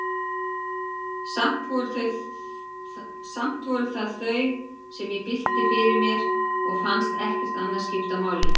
Samt voru það þau, sem ég bylti fyrir mér, og fannst ekkert annað skipta máli.